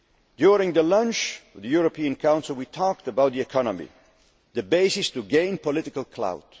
force. During the European Council lunch, we talked about the economy, the basis to gain political